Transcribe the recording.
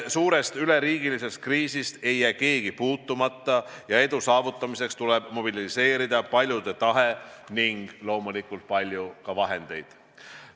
Suurest üleriigilisest kriisist ei jää keegi puutumata ning edu saavutamiseks tuleb mobiliseerida paljude tahe ja loomulikult ka palju vahendeid.